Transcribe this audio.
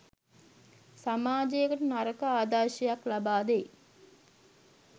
සමාජයට නරක ආදර්ශයක් ලබා දෙයි